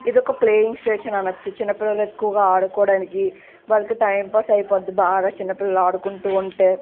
ఇది ఒక playing station అనొచ్చు. చిన్నపిల్లలు ఎక్కువగా ఆడుకోవడానికి వాళ్లకి టైం పాస్ అయిపోద్ది బాగా చిన్నపిల్లలు ఆడుకుంటూ ఉంటే --